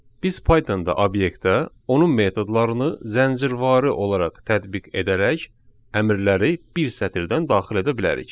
Biz Pythonda obyektə onun metodlarını zəncirvarı olaraq tətbiq edərək əmrləri bir sətirdən daxil edə bilərik.